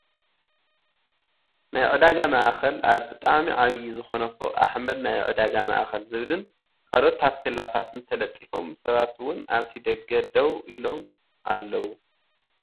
ናይ ዕዳጋ ማእከል ኣብ ብጣዕሚ ዓብበይ ዝኮነ ፎቅ ኣሕመድ ናይ ዕዳጋ ማእከል ዝብል ን ካልኦት ታፖላታትን ተለጢፎም ሰባት እውን ኣብቲ ደገ ደው ኢሎም ኣለዉ።